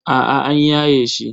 A'a an yaye shi.